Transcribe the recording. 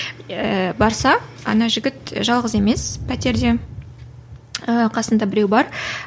ііі барса ана жігіт жалғыз емес пәтерде ііі қасында біреу бар